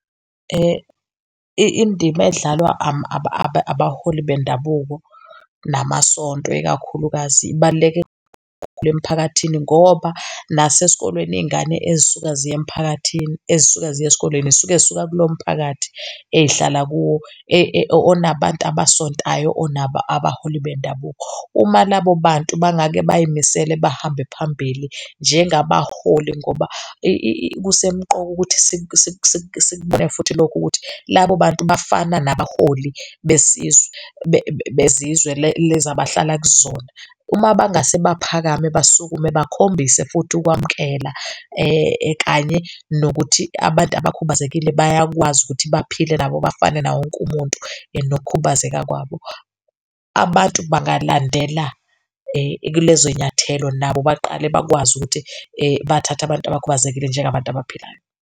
Indima edlalwa abaholi bendabuko nomasonto, ikakhulukazi ibaluleke kakhulu emiphakathini ngoba nasesikolweni iy'ngane ezisuka ziya emiphakathini ezisuka ziya esikoleni zisuke zisuka kuloyo mphakathi ezihlala kuwo onabantu abasontayo, onabaholi bendabuko. Uma labo bantu bangake bayimisele bahambe phambili njengabaholi, ngoba kusemqoka ukuthi siku siku sikubone futhi lokho ukuthi labo bantu bafana nabaholi besizwe bezizwe lezi abahlala kuzona. Uma bangase baphakame, basukume, bakhombise futhi ukwamukela kanye nokuthi abantu abakhubazekile bayakwazi ukuthi baphile nabo bafane nawo wonke umuntu nokukhubazeka kwabo. Abantu bangalandela kulezo zinyathelo nabo baqale bakwazi ukuthi bathathe abantu abakhubazekile njengabantu abaphilayo.